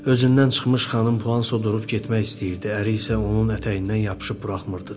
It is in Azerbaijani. Özündən çıxmış xanım Puanso durub getmək istəyirdi, əri isə onun ətəyindən yapışıb buraxmırdı.